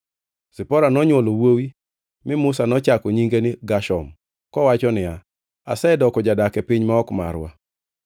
Zipora nonywolo wuowi mi Musa nochako nyinge ni Gershom, kowacho niya, “Asedoko jadak e piny ma ok marwa.”